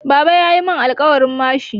Baba ya mun alkawarin mashin.